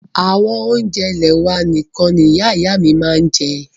Àwọn oúnjẹ ilẹ́ wà nìkan ní Ìyá ìyá à mí màa ń jẹ́.